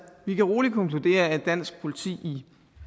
vi kan roligt konkludere at dansk politi i